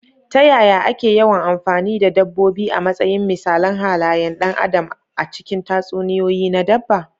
Ta yaya ake yawan amfani da dabbobi a matsayin misalan halayen ɗan adam a cikin tatsuniyoyi na dabba?